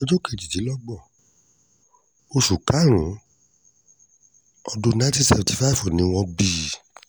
ọjọ́ kejìdínlógún oṣù karùn-ún ọdún nineteen seventy five ni wọ́n bí i